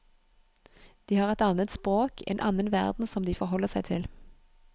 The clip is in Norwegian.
De har et annet språk, en annen verden som de forholder seg til.